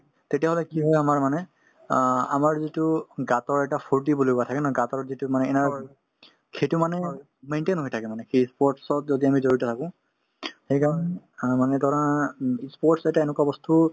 তেতিয়াহলে কি হয় আমাৰ মানে অ আমাৰ যিটো এটা ফূৰ্তি বুলি কথা থাকে ন যিটো মানে সেইটো মানে maintain হৈ থাকে মানে সেই ই sports ত যদি আমি জড়িত থাকো সেইকাৰণ অ মানে ধৰা উম ই sports এটা এনেকুৱা বস্তু